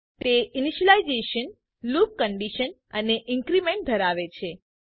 તે initialization loop condition અને increment ધરાવે છે